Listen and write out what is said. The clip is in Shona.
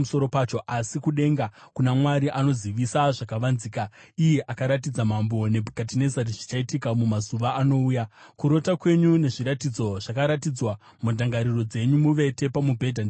asi kudenga kuna Mwari anozivisa zvakavanzika. Iye akaratidza Mambo Nebhukadhinezari zvichaitika mumazuva anouya. Kurota kwenyu nezviratidzo zvakaratidzwa mundangariro dzenyu muvete pamubhedha ndezvizvi: